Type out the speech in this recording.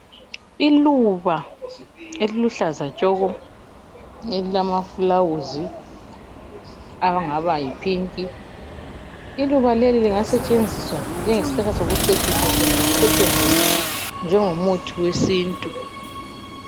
Iluba eliluhlaza tshoko elilamaflawuzi angaba yiphinki. Iluba leli lingasetshenziswa njengesihlahla sokucecisa kumbe lisetshenziswe njengomuthi wesintu.